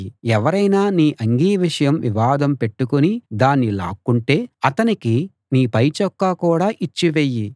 ఎవరైనా నీ అంగీ విషయం వివాదం పెట్టుకుని దాన్ని లాక్కుంటే అతనికి నీ పైచొక్కా కూడా ఇచ్చివెయ్యి